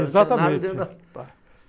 Exatamente.